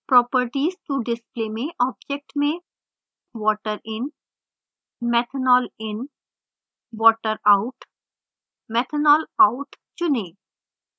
properties to display में object में: water in methanol in water out methanol out चुनें